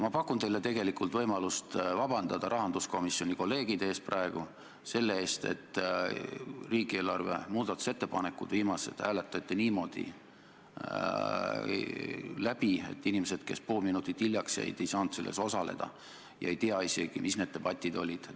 Ma pakun teile võimalust rahanduskomisjonis töötavatelt kolleegidelt vabandust paluda selle eest, et viimased riigieelarve muudatusettepanekud hääletati niimoodi läbi, et inimesed, kes pool minutit hiljaks jäid, ei saanud selles osaleda ega tea isegi, mis need debatid olid.